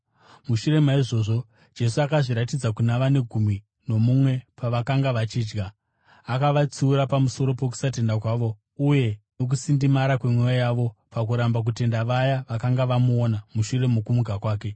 Mushure maizvozvo Jesu akazviratidza kuna vane gumi nomumwe pavakanga vachidya; akavatsiura pamusoro pokusatenda kwavo uye nokusindimara kwemwoyo yavo pakuramba kutenda vaya vakanga vamuona mushure mokumuka kwake.